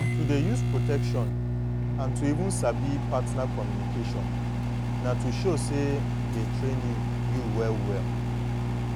to dey use protection and to even sabi partner communication na to show say dey train you you well well